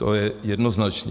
To je jednoznačné.